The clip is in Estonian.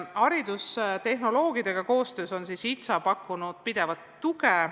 Haridustehnoloogidega koostöös on HITSA pakkunud pidevat tuge.